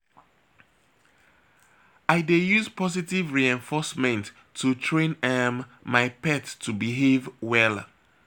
I dey use positive reinforcement to train um my pet to behave well.